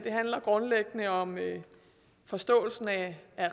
handler grundlæggende om forståelsen af